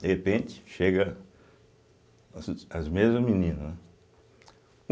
De repente, chegam as as mesmas meninas, né.